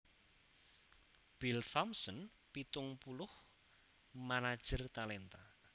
Bill Thompson pitung puluh manajer talenta